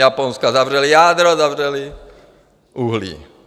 Japonsko zavřelo jádro, zavřeli uhlí.